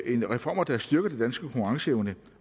i reformer der styrker den danske konkurrenceevne